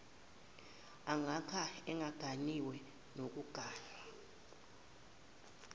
ongaka engaganiwe nokuganwa